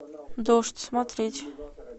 дождь смотреть